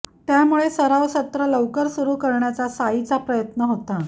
त्यामुळे सराव सत्र लवकर सुरू करण्याचा साइचा प्रयत्न होता